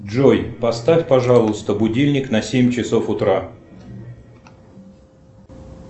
джой поставь пожалуйста будильник на семь часов утра